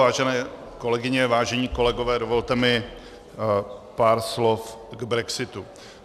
Vážené kolegyně, vážení kolegové, dovolte mi pár slov k brexitu.